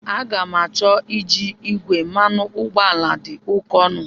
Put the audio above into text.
Aga ga-m acho iji igwe, mmanụ ụgbọala dị oke ọnụ.